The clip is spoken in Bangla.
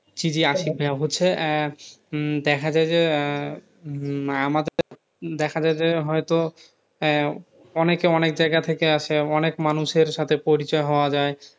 জি জি আশিক ভাইয়া হচ্ছে আহ উম দেখা গেছে আহ উম দেখা যায় যে আমাদের দেখা যায় যে হয়ত আহ অনেকে অনেক জায়গা থেকে আসে অনেক মানুষের সাথে পরিচয় হওয়া যায়